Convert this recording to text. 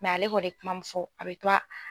ale kɔni ye kuma min fɔ a bɛ to a